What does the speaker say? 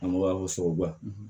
An ko a ko sababuba